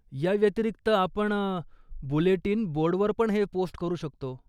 याव्यतिरिक्त, आपण बुलेटीन बोर्डवरपण हे पोस्ट करू शकतो.